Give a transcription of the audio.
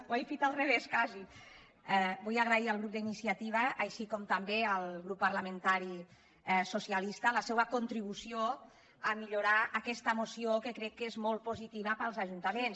ho he dit al revés quasi vull agrair al grup d’iniciativa així com també al grup parlamentari socialista la seua contribució a millorar aquesta moció que crec que és molt positiva per als ajuntaments